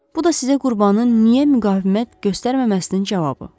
Bu da sizə qurbanın niyə müqavimət göstərməməsinin cavabı.